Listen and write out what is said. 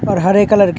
और हरे कलर के--